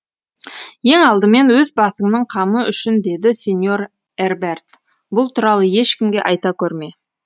ең алдымен өз басыңның қамы үшін деді сеньор эрберт бұл туралы ешкімге айта көрме